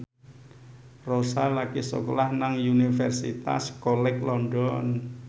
Rossa lagi sekolah nang Universitas College London